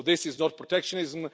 So this is not protectionism.